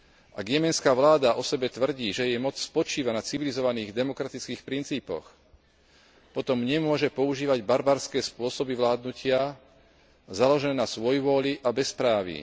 Ak jemenská vláda o sebe tvrdí, že jej moc spočíva na civilizovaných demokratických princípoch, potom nemôže používať barbarské spôsoby vládnutia založené na svojvôli a bezpráví.